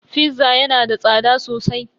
"Fizza" yana da tsada sosai.